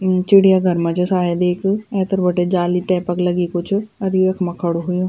चिड़िया घर मा च सायद एक ऐथर बटे जाली टाइप क लगीं कुछ अर ये यख्मा खडू हुयुं।